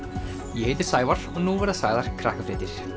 ég heiti Sævar og nú verða sagðar Krakkafréttir